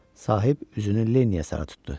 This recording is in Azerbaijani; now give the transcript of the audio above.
Sahib üzünü Leniyə sarı tutdu.